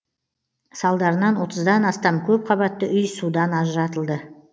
салдарынан отыздан астам көпқабатты үй судан ажыратылды